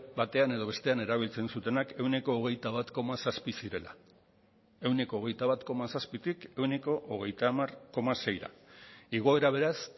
batean edo bestean erabiltzen zutenak ehuneko hogeita bat koma zazpi zirela ehuneko hogeita bat koma zazpitik ehuneko hogeita hamar koma seira igoera beraz